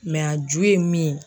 a ju ye min ye.